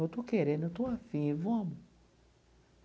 Eu estou querendo, eu estou afim, vamos.